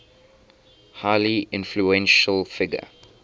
highly influential figure